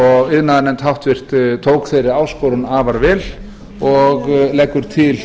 iðnaðarnefnd háttvirtur tók þeirri áskorun afar vel og leggur til